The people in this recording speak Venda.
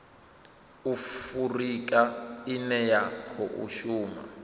afurika ine ya khou shuma